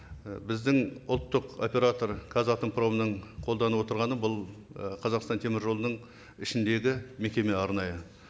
і біздің ұлттық оператор қазатомпромның қолданып отырғаны бұл і қазақстан темір жолының ішіндегі мекеме арнайы